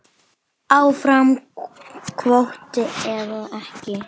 Áfram kvóti eða ekki?